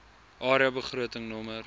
area begroting nr